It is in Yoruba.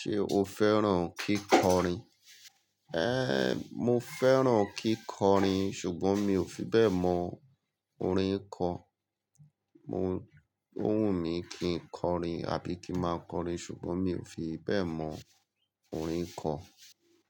Ṣé o fẹ́ràn kíkọrin? Mo fẹ́ràn kíkọrin ṣùgbọ́n mi ò fi bẹ́ẹ̀ mọ orin kọ. Mo, ó wùn mí kí n kọrin àbí kí máa kọrin ṣùgbọ́n mi ò fi bẹ́ẹ̀ mọ orin kọ.